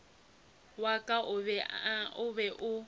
wa ka o be o